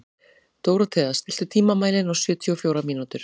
Dórothea, stilltu tímamælinn á sjötíu og fjórar mínútur.